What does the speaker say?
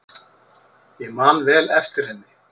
Ég man vel eftir henni.